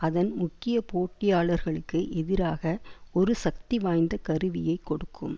அதன் முக்கிய போட்டியாளர்களுக்கு எதிராக ஒரு சக்திவாய்ந்த கருவியைக் கொடுக்கும்